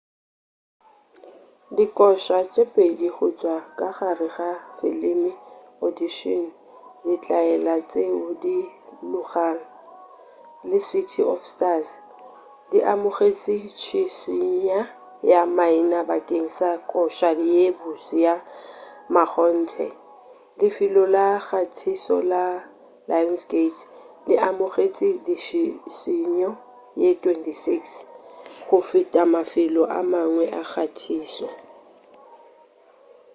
dikoša tše pedi go tšwa ka gare ga filime audition ditlaela tšeo di lorago le city of stars di amogetše tšhišinya ya maina bakeng sa koša ye botse ya mmakgonthe. lefelo la kgathišo la lionsgate le amogetše ditšhišinyo ye 26 — go feta mafelo a mangwe a kgathišo